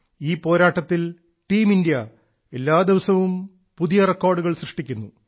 ഈ പോരാട്ടത്തിൽ ടീംഇന്ത്യ എല്ലാ ദിവസവും പുതിയ റെക്കോർഡുകൾ സൃഷ്ടിക്കുന്നു